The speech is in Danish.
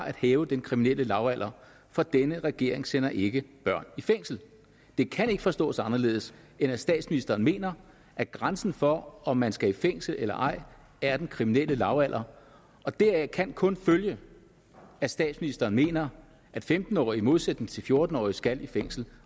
at hæve den kriminelle lavalder for denne regering sender ikke børn i fængsel det kan ikke forstås anderledes end at statsministeren mener at grænsen for om man skal i fængsel eller ej er den kriminelle lavalder deraf kan kun følge at statsministeren mener at femten årige i modsætning til fjorten årige skal i fængsel